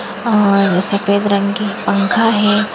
और सफ़ेद रंग की पंखा है।